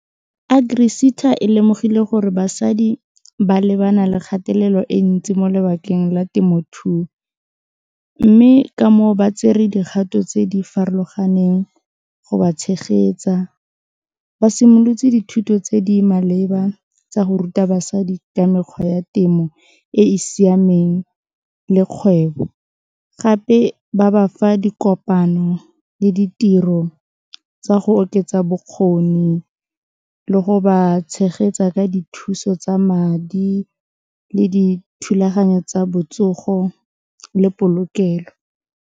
AgriSETA e lemogile gore basadi ba lebana le kgatelelo e ntsi mo lebakeng la temothuo mme ka moo ba tsere dikgato tse di farologaneng go ba tshegetsa, ba simolotse dithuto tse di maleba tsa go ruta basadi ka mekgwa ya temo e e siameng le kgwebo gape ba bafa dikopano le ditiro tsa go oketsa bokgoni le go ba tshegetsa ka dithuso tsa madi le dithulaganyo tsa botsogo le polokelo.